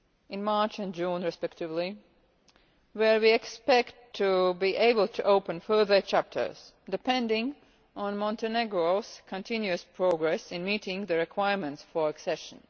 level, in March and June respectively, where we expect to be able to open further chapters, depending on Montenegro's continuous progress in meeting the requirements for accession.